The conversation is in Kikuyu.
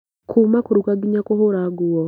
Kuuma kũruga nginya kũhũra nguo